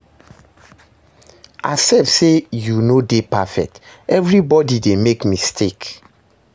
Accept say yu no de perfect, evribodi dey make mistake